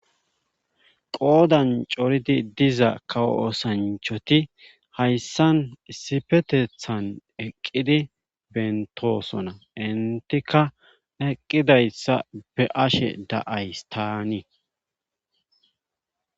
qoodan coridi diza kawo oosanchoti hayssan issifetethan eqqidi bentosona intika eqqidayssa be ashe da7ays taanii